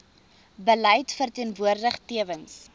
beleid verteenwoordig tewens